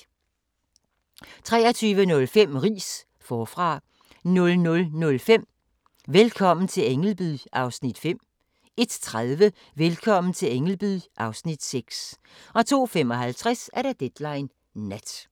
23:05: Riis - forfra 00:05: Velkommen til Ängelby (Afs. 5) 01:30: Velkommen til Ängelby (Afs. 6) 02:55: Deadline Nat